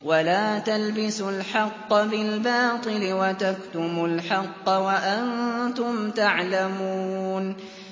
وَلَا تَلْبِسُوا الْحَقَّ بِالْبَاطِلِ وَتَكْتُمُوا الْحَقَّ وَأَنتُمْ تَعْلَمُونَ